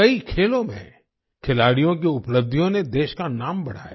कई खेलों में खिलाड़ियों की उपलब्धियों ने देश का नाम बढ़ाया